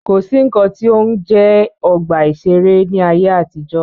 Kò sí nnkan tí ó ń jẹ́ ọgbà ìṣẹ̀rẹ́ ní ayé àtijọ́.